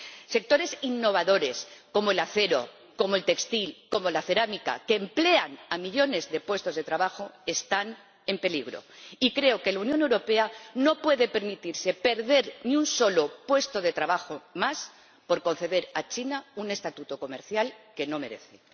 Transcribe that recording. Sectores innovadores como el acero, como el textil, como la cerámica, que emplean a millones de personas, están en peligro y creo que la Unión Europea no puede permitirse perder ni un solo puesto de trabajo más por conceder a China un estatuto comercial que no merece.